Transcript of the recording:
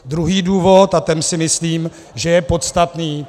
Druhý důvod, a ten si myslím, že je podstatný.